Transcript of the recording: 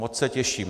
Moc se těším.